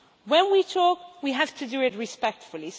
When we talk, we have to do it respectfully.